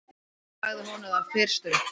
Ég sagði honum það fyrstum.